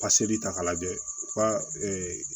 Paseli ta k'a lajɛ u ka